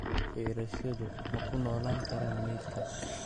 Fayrasyadu ma ku noolaan karaan meydka?